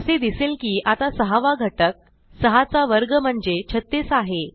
असे दिसेल की आता सहावा घटक सहाचा वर्ग म्हणजे 36 आहे